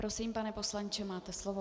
Prosím, pane poslanče, máte slovo.